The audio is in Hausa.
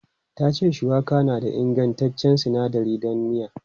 Ta ce shuwaka na da ingantaccen sinadari don miya.